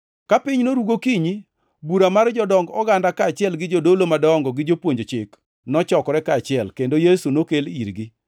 Ka piny noru gokinyi, bura mar jodong oganda kaachiel gi jodolo madongo gi jopuonj chik, nochokore kaachiel, kendo Yesu nokel irgi.